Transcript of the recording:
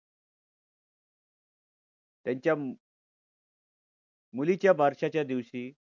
त्यांच्या मुलीच्या बारश्याच्या दिवशी